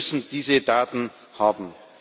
Wir müssen diese Daten haben.